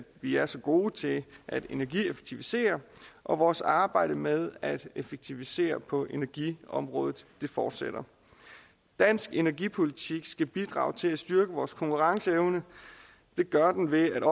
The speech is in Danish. vi er så gode til at energieffektivisere og vores arbejde med at effektivisere på energiområdet fortsætter dansk energipolitik skal bidrage til at styrke vores konkurrenceevne det gør den ved